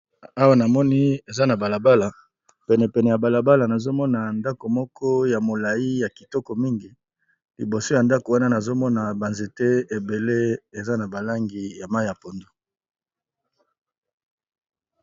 Awa namoni eza na balabala penepene ya balabala nazomona ndako moko ya molai ya kitoko mingi liboso ya ndako wana nazomona banzete ebele eza na balangi ya mai ya pondu.